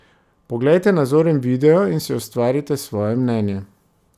Poglejte nazoren video in si ustvarite svoje mnenje ...